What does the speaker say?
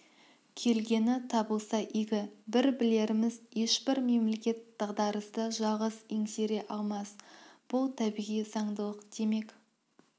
келгені табылса игі бір білеріміз ешбір мемлекет дағдарысты жалғыз еңсере алмас бұл табиғи заңдылық демек